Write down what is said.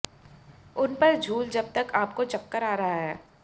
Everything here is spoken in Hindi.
उन पर झूल जब तक आपको चक्कर आ रहा